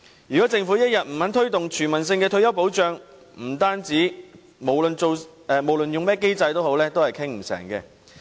如果政府一天不肯推動全民退休保障，則不論採用甚麼機制也不會達成共識。